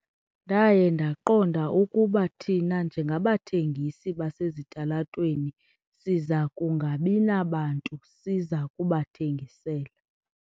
Ndaye ndaqonda ukuba thina njengabathengisi basezitalatweni siza kungabi nabantu siza kubathengisela.